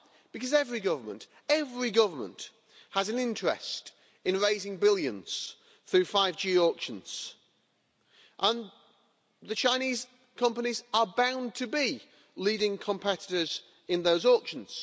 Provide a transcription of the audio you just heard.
Because every government every government has an interest in raising billions through 5G auctions, and the Chinese companies are bound to be the leading competitors in those auctions.